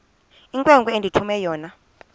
inkwenkwe endithume yona